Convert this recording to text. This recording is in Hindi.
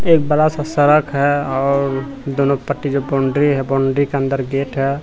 एक बड़ा सा सड़क है और दोनों पट्टी जो बाउंड्री है बाउंड्री के अंदर गेट है।